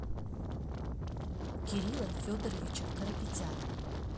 кирилла федоровича карапетяна